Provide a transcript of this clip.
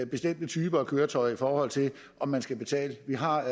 bestemte typer af køretøjer i forhold til om man skal betale vi har